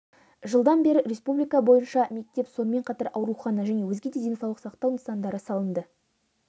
жылдан бері республика бойынша мектеп сонымен қатар аурухана және өзге де денсаулық сақтау нысандары салынды